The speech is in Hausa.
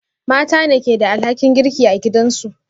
Mata ne ke da alhakin girki a gidansu